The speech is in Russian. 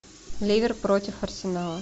ливер против арсенала